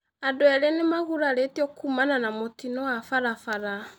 Andu eri ni maguraritio kuumana na mutino wa barabara